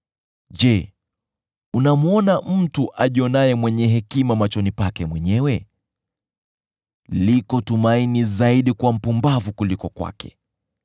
Je, unamwona mtu ajionaye mwenye hekima machoni pake mwenyewe? Liko tumaini zaidi kwa mpumbavu kuliko kwake.